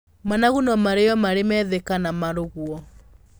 Managu no marĩyo marĩ methĩ kana marugwo.